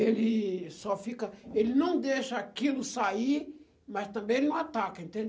Ele só fica... Ele não deixa aquilo sair, mas também ele não ataca, entende?